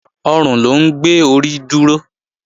Ọrùn ló ń gbé orí dúró